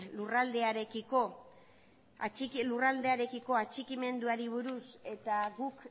lurraldearekiko atxikimenduari buruz eta guk